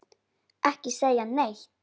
Ekki segja neitt!